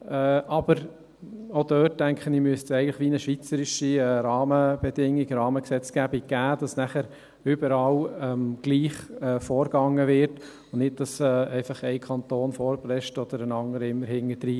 Aber auch dort, denke ich, müsste es eine schweizerische Rahmengesetzgebung geben, damit überall gleich vorgegangen wird, und nicht ein Kanton vorprescht oder hinterherhinkt.